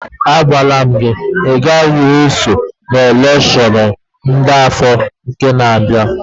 A gwala m gị, ị gaghị esonye n'elekshọn afọ na-bịanụ!